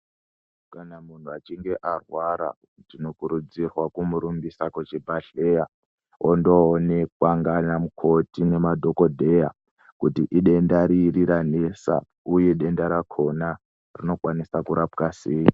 Kana munhu achinge arwara tinokurudzirwa kumurumbisa kuchibhadhleya ondoonekwa ngaana mukoti ngemadhokodheya kuti idenda riri ranesa uye denda rakhona rinokwanisa kurapwa sei.